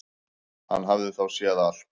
Hann hafði þá séð allt!